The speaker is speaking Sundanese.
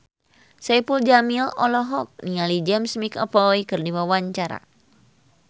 Saipul Jamil olohok ningali James McAvoy keur diwawancara